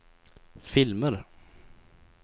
filmer